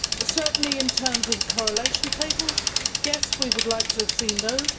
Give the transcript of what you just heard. Certainly in terms of the correlation tables yes, we would like to have seen those.